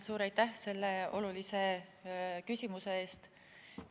Suur aitäh selle olulise küsimuse eest!